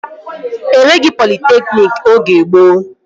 E nweghị politekniki oge gboo